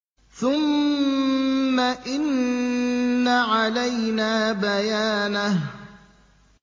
ثُمَّ إِنَّ عَلَيْنَا بَيَانَهُ